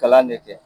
Kalan ne kɛ